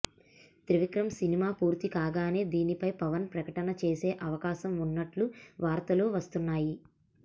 Trivikram cinema పూర్తి కాగానే దీనిపై పవన్ ప్రకటన చేసే అవకాశం ఉన్నట్లు వార్తలు వస్తున్నాయి